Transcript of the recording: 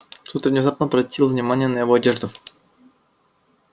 тут я внезапно обратила внимание на его одежду